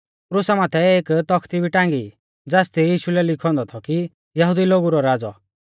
क्रुसा माथै एक तख्ती भी टांगी ज़ासदी यीशु लै लिखौ औन्दौ थौ कि यहुदी लोगु रौ राज़ौ